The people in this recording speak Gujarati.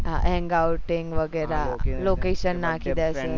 હા hang outing વેગેરા location નાખી દીસે